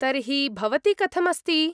तर्हि भवती कथम् अस्ति ?